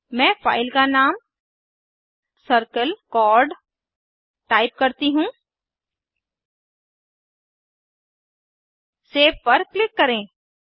मैं फाइल का नाम circle चोर्ड टाइप करती हूँ सेव पर क्लिक करें